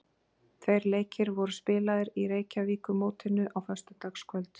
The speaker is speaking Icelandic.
Tveir leikir voru spilaðir í Reykjavíkurmótinu á föstudagskvöld.